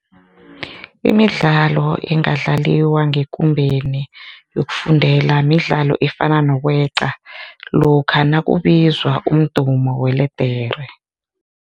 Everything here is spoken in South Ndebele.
Imidlalo engadlaliwa ngekumbeni yokufundela midlalo efana nokweqa lokha nakubizwa umdumo weledere.